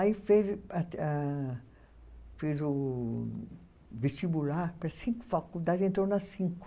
Aí fez a a fez o vestibular para cinco faculdades, entrou nas cinco.